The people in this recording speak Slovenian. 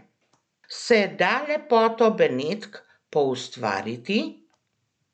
Se da lepoto Benetk poustvariti?